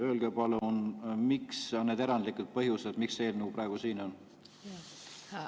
Öelge palun, mis on need erandlikud põhjused, miks see eelnõu praegu siin on.